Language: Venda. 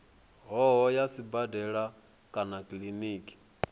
hoho ya sibadela kana kiliniki